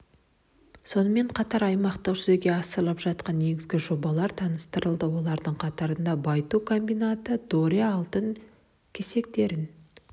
сонымен қатар аймақтағы жүзеге асырылып жатқан негізгі жобалар таныстырылды олардың қатарында байыту комбинаты доре алтын кесектерін